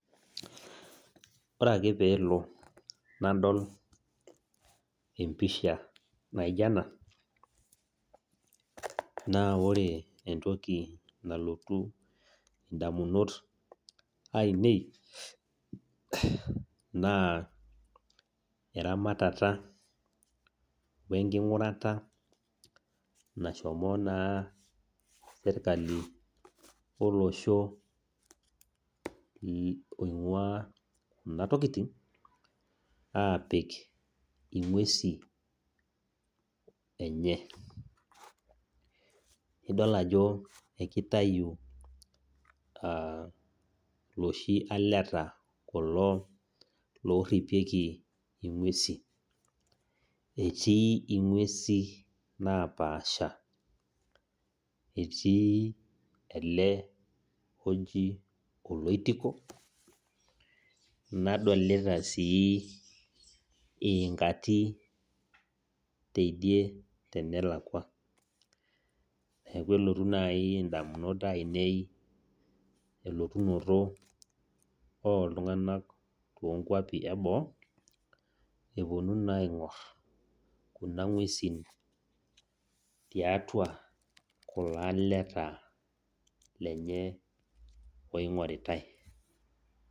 Ore ake peelo nadol empisha naija nena, na ore entoki nalotu indamunot ainei, naa eramatata wenking'urata nashomo naa serkali lolosho oing'ua kuna tokiting, apik ing'uesi enye. Idol ajo ekitayu loshi aleta kulo lorripieki ing'uesi. Etii ing'uesi napaasha. Etii ele oji oloitiko, nadolita sii iinkati tidie tenelakwa. Neeku elotu nai indamunot ainei elotunoto oltung'ani tonkwapi eboo, eponu naa aing'or kuna ng'uesin tiatua kulo aleta, lenye oing'oritai.